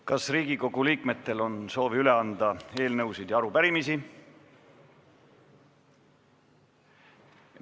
Kas Riigikogu liikmetel on soovi anda üle eelnõusid või arupärimisi?